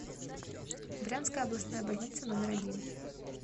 брянская областная больница номер один